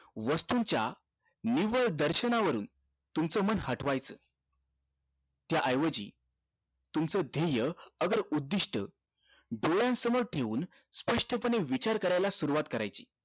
वस्तूच्या निवळ दर्शना वरून तुमचं मन हटवायचा त्या ऐवजी तुमचं ध्येय अगर उद्दिष्ट डोळ्यासमोर ठेऊन स्पष्टतेन विचार कराला सुरवात करायची